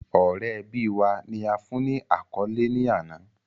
Ọrẹ ẹbi wa, ni a fun ni akọle ni ana